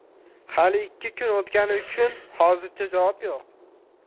Hali ikki kun o‘tgani uchun, hozircha javob yo‘q.